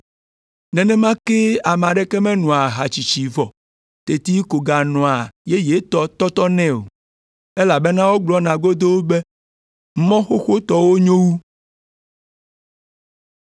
Nenema kee ame aɖeke menoa aha tsitsi vɔ teti ko ganoa yeyetɔ tɔtɔnɛ o, elabena wogblɔna godoo be, ‘Mɔ xoxotɔwo nyo wu.’ ”